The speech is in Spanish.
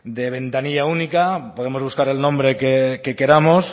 de ventanilla única podemos buscar el nombre que queramos